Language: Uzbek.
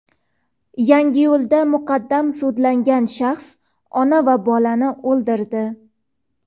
Yangiyo‘lda muqaddam sudlangan shaxs ona va bolani o‘ldirdi.